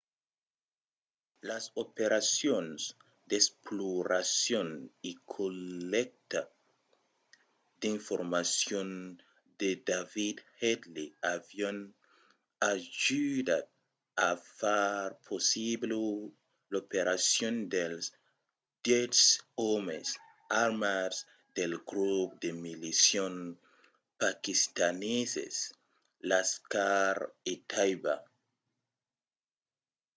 las operacions d'exploracion e collècta d'informacion de david headley avián ajudat a far possibla l'operacion dels 10 òmes armats del grop de milicians paquistaneses laskhar-e-taiba